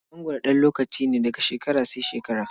mangwaro ɗan lokaci ne, daga shekara sai shekara.